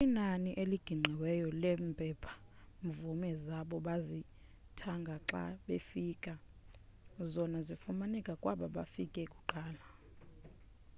kukho inani eliqingqiweyo leempepha-mvume zabo bazithanga xa befika zona zifumaneka kwabo bafike kuqala